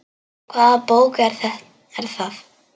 Hvaða bók er það?